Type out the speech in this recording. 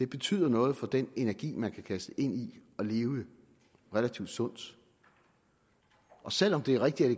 betyder noget for den energi man kan kaste ind i at leve relativt sundt og selv om det er rigtigt at